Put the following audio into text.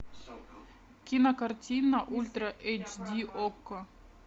кинокартина ультра эйч ди окко